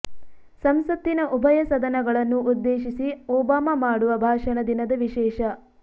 ಸಂಸತ್ತಿನ ಉಭಯ ಸದನಗಳನ್ನು ಉದ್ದೇಶಿಸಿ ಒಬಾಮಾ ಮಾಡುವ ಭಾಷಣ ದಿನದ ವಿಶೇಷ